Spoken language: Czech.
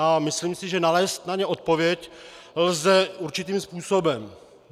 A myslím si, že nalézt na ně odpověď lze určitým způsobem.